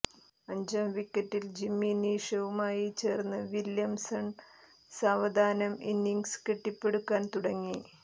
അഞ്ചാം വിക്കറ്റിൽ ജിമ്മി നീഷവുമായി ചേർന്ന് വില്ല്യംസൺ സാവധാനം ഇന്നിംഗ്സ് കെട്ടിപ്പടുക്കാൻ തുടങ്ങി